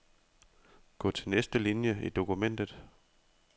Gå til næste linie i dokumentet.